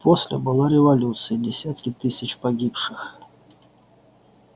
после была революция и десятки тысяч погибших